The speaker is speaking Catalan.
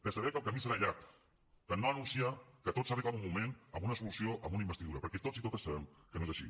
de saber que el camí serà llarg de no anunciar que tot s’arregla en un moment amb una solució amb una investidura perquè tots i totes sabem que no és així